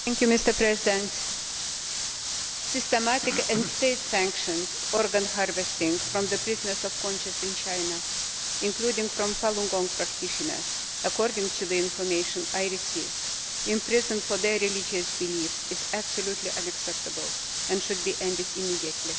Mr President, systematic and state sanctioned organ harvesting from prisoners of conscience in China, including from Falun Gong practitioners according to the information I have received in prison for their religious beliefs, is absolutely unacceptable and should be ended immediately.